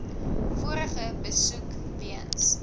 vorige besoek weens